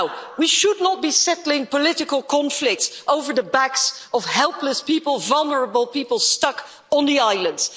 We should not be settling political conflicts on the back of helpless people, vulnerable people, stuck on the islands.